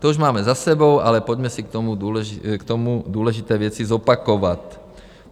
To už máme za sebou, ale pojďme si k tomu důležité věci zopakovat.